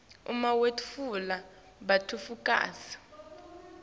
uma wetfula bufakazi